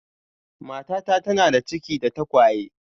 Matata tana da ciki da tagwaye